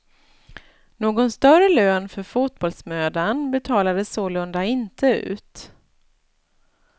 Någon större lön för fotbollsmödan betalades sålunda inte ut.